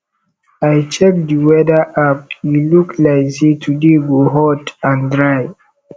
i check di weather app e look like say today go hot and dry